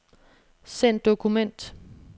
Send dokument.